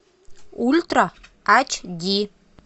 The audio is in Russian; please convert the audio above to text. ультра ач ди